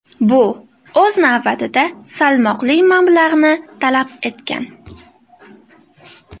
Bu, o‘z navbatida, salmoqli mablag‘ni talab etgan.